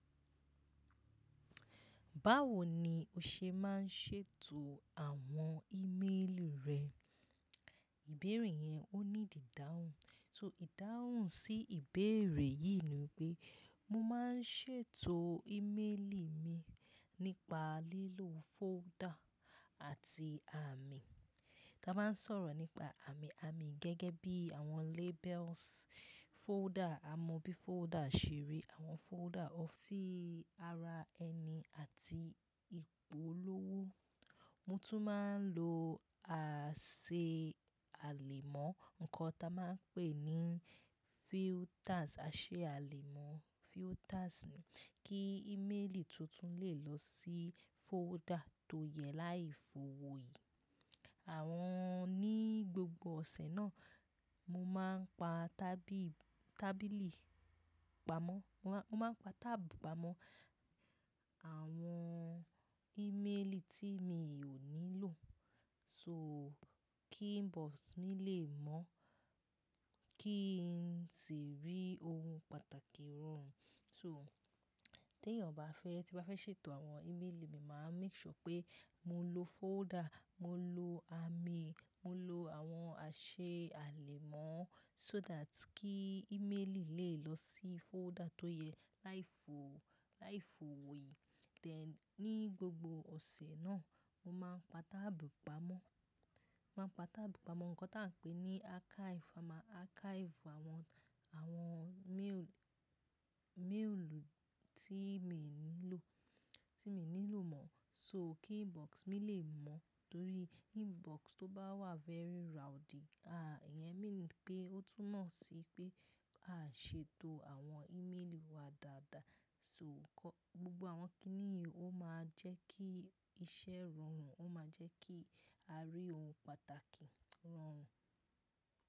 Báwo ni o ṣe má ń ṣètò àwọn ímeélì rẹ? Ìbéèrè yẹn ó ní ìdáhùn. So ìdáhùn sí ìbéèrè yìí ni pé mo má ń ṣètò ímeélì mi nípa lílo folder àti àmì. Ta bá ń sọ̀rọ̀ nípa àmì, àmì gẹ́gẹ́ bí àwọn labels, folder, a mọ bí folder ṣe rí, àwọn folder ọ́fíìsì, ara ẹni àti ìpolówó. Mo tún má ń lo àṣẹ àlèmọ́, ǹkan ta má ń pè ní filters, àṣẹ àlèmọ́ filters ni kí ímeélì tuntun lè lọ sí folder tó yẹ láì fo wò yí. Àwọn ní gbogbo ọ̀sẹ̀ náà mo má ń pa tábìlì, tábìlì pamọ́, mo má ń pa tábu pàmọ́ àwọn ímeélì tí mi ò nílò so kí inbox mi lè mọ́ kí n sì rí ohun pàtàkì rọrùn. So tí ènìyàn bá fẹ́, tí bá fẹ́ ṣètò àwọn ímeélì mi, màá make sure pé mo lo folder, mo lo àmì, mo lo àwọn àṣẹ àlèmọ́ so that kí ímeélì lè lọ sí folder tó yẹ láì fo, láì fo wò yí. Then ní gbogbo ọ̀sẹ̀ náà mo má ń pa tábu pàmọ́, má ń pa tábu pàmọ́ ǹkan ta ń pè ní archive. A ma archive àwọn, àwọn méèl, méèl tí mi ò nílò, tí mi ò nílò mọ́ so kí inbox mi lè mọ́. Torí inbox tó bá wà very rowdy, à, ìyẹn mean pé ó túnmọ̀ sí pé a ṣètò àwọn ímeélì wa dáadáa so gbogbo àwọn kínní yìí ó máa jẹ́ kí iṣẹ́ rọrùn, ó máa jẹ́ kí a rí ohun pàtàkì rọrùn.